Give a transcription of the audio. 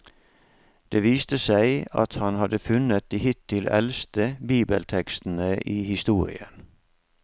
Det viste seg at han hadde funnet de hittil eldste bibeltekstene i historien.